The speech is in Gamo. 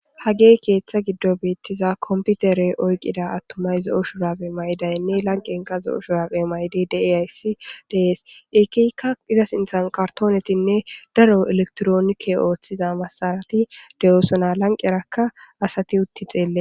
Haggey keththa giidon bettiza komppitere oyqqida attuma attumay zo'o shurabbe mayidaynne lanqqenka zo'o shurabe mayidi deiyayssi de'es kehika izza sinththan kartonetikka elekitironikke othtiza massarati de'ossona lanqqeraka asati utti xelles.